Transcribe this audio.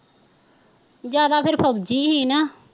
ਜਿਆਦਾ ਫੇਰ ਫੌਜੀ ਸੀ ਨਾ